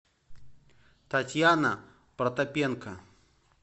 татьяна протопенко